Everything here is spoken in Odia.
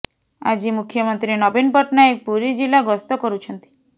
ଆଜି ମୁଖ୍ୟମନ୍ତ୍ରୀ ନବୀନ ପଟ୍ଟନାୟକ ପୁରୀ ଜିଲ୍ଲା ଗସ୍ତ କରୁଛନ୍ତି